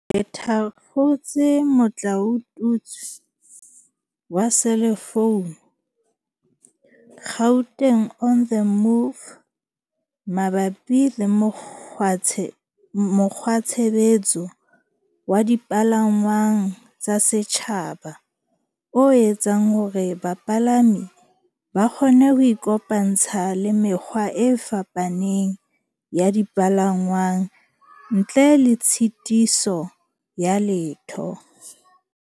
le thakgotse motlaotutswe wa selefounu, Gauteng on the Move, mabapi le mokgwatshebetso wa dipalangwang tsa setjhaba o etsang hore bapalami ba kgone ho ikopantsha le mekgwa e fapaneng ya dipalangwang ntle le tshitiso ya letho.